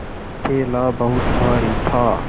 थैला बहुत भारी था